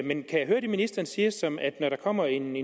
men kan jeg høre det ministeren siger sådan at når der kommer en